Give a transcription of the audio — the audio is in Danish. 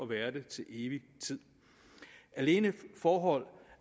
være det til evig tid alene det forhold